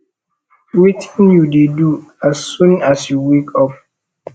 wetin you dey do as soon as you wake up